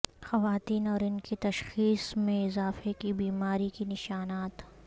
خواتین اور ان کی تشخیص میں اضافے کی بیماری کے نشانات